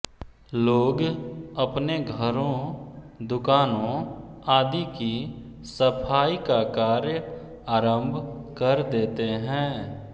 लोग अपने घरों दुकानों आदि की सफाई का कार्य आरंभ कर देते हैं